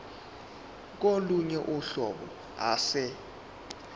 kolunye uhlobo ase